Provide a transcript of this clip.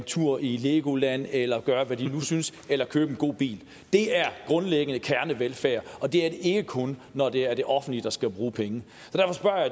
tur i legoland eller hvad de nu synes eller købe en god bil det er grundlæggende kernevelfærd og det er ikke kun når det er det offentlige der skal bruge penge